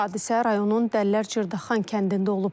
Hadisə rayonun Dəllər Cırdaxan kəndində olub.